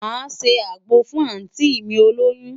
Màá ṣe àgbo fún àùntí mi olóyún.